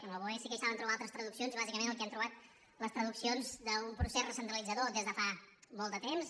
en el boe sí que hi saben trobar altres traduccions i bàsicament el que hi hem trobat les traduccions d’un procés recentralitzador des de fa molt de temps